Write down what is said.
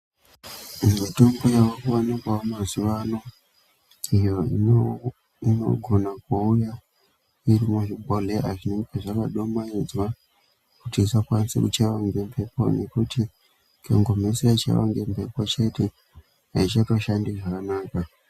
Mitombo yava kuwanikwawo mazuwa ano iyo inogona kuuya iri muzvibhodhleya zvinenge zvakadumaidzwa kuti isakaanisa kuchaiwa ngemphepo ngekuti ikangomhesa yachaiwa ngemphepo chete aichatoshandi zvakanaka.